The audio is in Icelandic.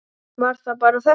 Var það bara þetta?